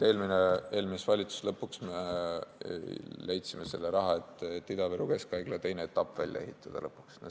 Eelmise valitsuse tegevuse lõpus me leidsime raha, et Ida-Viru Keskhaigla teine etapp lõpuks välja ehitada.